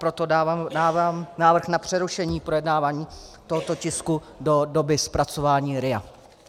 Proto dávám návrh na přerušení projednávání tohoto tisku do doby zpracování RIA.